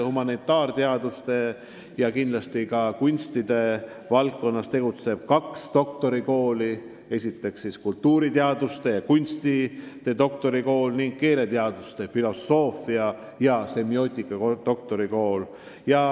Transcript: Humanitaarteaduste ja ka kunstide valdkonnas tegutsevad kaks doktorikooli: kultuuriteaduste ja kunstide doktorikool ning keeleteaduse, filosoofia ja semiootika doktorikool.